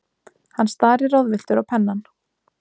Hann starir ráðvilltur á pennann.